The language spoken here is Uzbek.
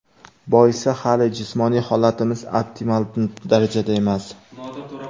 Boisi hali jismoniy holatimiz optimal darajada emas.